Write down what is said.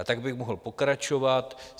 A tak bych mohl pokračovat.